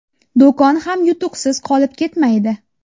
Do‘kon ham yutuqsiz qolib ketmaydi.